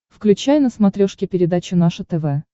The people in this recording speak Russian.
включай на смотрешке передачу наше тв